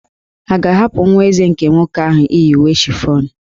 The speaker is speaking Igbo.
A ga-ahapụ nwa Eze nke nwoke ahụ iyi uwe chiffon?